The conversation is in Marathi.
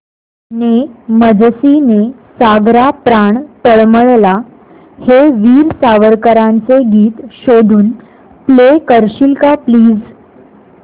ने मजसी ने सागरा प्राण तळमळला हे वीर सावरकरांचे गीत शोधून प्ले करशील का प्लीज